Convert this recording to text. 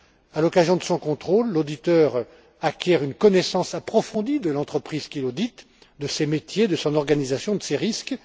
À l'occasion de son contrôle, l'auditeur acquiert une connaissance approfondie de l'entreprise qu'il audite, de ses métiers, de son organisation, de ses risques.